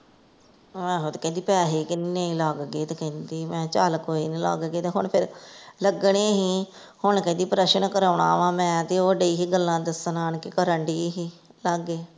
ਆਹੋ ਤੇ ਕਹਿੰਦੀ ਪੈਸੇ ਕਿੰਨੇ ਈ ਲੱਗ ਗਏ ਤੇ ਕਹਿੰਦੀ ਮੈਂ ਹਾ ਚੱਲ ਕੋਈ ਨੀ ਲੱਗ ਗਏ ਤੇ ਹੁਣ ਫੇਰ ਲਗਣੇ ਹੀ ਹੁਣ ਕਹਿੰਦੀ ਪਰੇਸ਼ਨ ਕਰੋਣਾ ਵਾ ਮੈਂ ਤੇ ਉਹ ਡਇ ਹੀ ਗੱਲਾਂ ਦਸਣ ਆਣਕੇ ਕਰਨ ਡੀ ਹੀ ਲਾਗੈ।